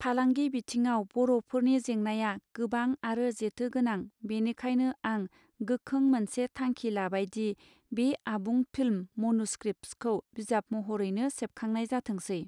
फालांगि बिथिङाव बरफोरनि जेंनाया गोबां आरो जेथो गोनां बिनिखायानो आं गोखों मोनसे थांखि लाबायदि बे आबुं फिल्म मॅन्युस्क्रिप्ट्स खौ बिजाब महरैनो सेबखांनाय जाथोंसै.